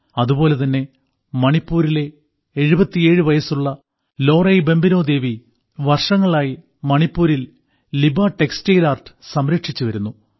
അതുപോലെതന്നെ മണിപ്പൂരിലെ 77 വയസ്സുള്ള ലോറൈബംബിനോദേവി വർഷങ്ങളായി മണിപ്പൂരിൽ ലിബാ ടെക്സ്റ്റൈൽ ആർട്ട് സംരക്ഷിച്ചുവരുന്നു